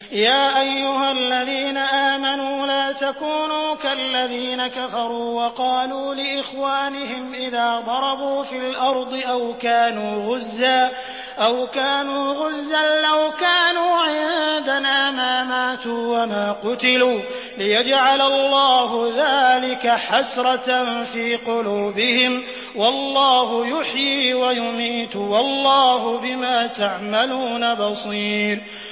يَا أَيُّهَا الَّذِينَ آمَنُوا لَا تَكُونُوا كَالَّذِينَ كَفَرُوا وَقَالُوا لِإِخْوَانِهِمْ إِذَا ضَرَبُوا فِي الْأَرْضِ أَوْ كَانُوا غُزًّى لَّوْ كَانُوا عِندَنَا مَا مَاتُوا وَمَا قُتِلُوا لِيَجْعَلَ اللَّهُ ذَٰلِكَ حَسْرَةً فِي قُلُوبِهِمْ ۗ وَاللَّهُ يُحْيِي وَيُمِيتُ ۗ وَاللَّهُ بِمَا تَعْمَلُونَ بَصِيرٌ